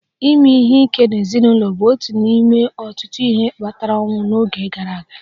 Ime ihe ike n'ezinụlọ bụ otu n'ime ọtụtụ ihe kpatara ọnwụ n'oge gara aga